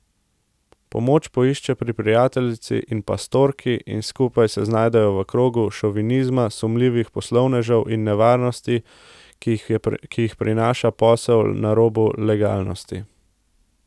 Pomoč poišče pri prijateljici in pastorki in skupaj se znajdejo v krogu šovinizma, sumljivih poslovnežev in nevarnosti, ki jih prinaša posel na robu legalnosti.